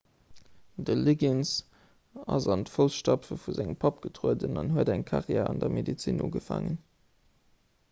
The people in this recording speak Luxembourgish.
de liggins ass an d'foussstapfe vu sengem papp getrueden an huet eng karriär an der medezin ugefaangen